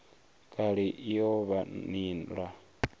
kale i o vha nila